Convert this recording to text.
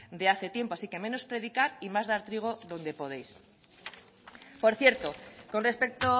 de hace tiempo así que menos predicar y más dar trigo donde podéis por cierto con respecto